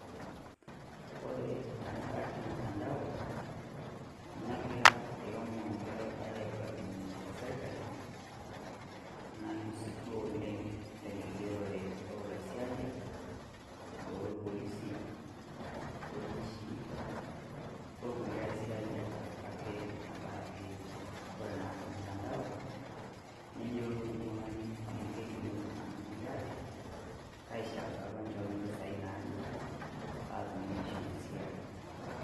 Kore tengaraki mutandao negira ilomon lerupare aibalunye tesirkali nalus duo oleng' tengigerore olaisiayiak lorpolisie aljeshi orukulie aisiayiak katoka ake tengaraki kore naa tolmutandao niyiolou oltung'ani amu kelimu iltung'anak kulie aajo kaishorari apa nchoru impisai naaje paatumokini aisho esiai.